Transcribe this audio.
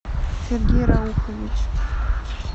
сергей раухович